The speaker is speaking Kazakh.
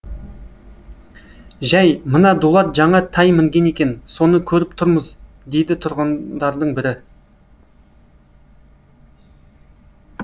жай мына дулат жаңа тай мінген екен соны көріп тұрмыз дейді тұрғандардың бірі